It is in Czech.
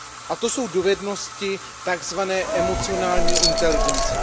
A to jsou dovednosti takzvané emocionální inteligence.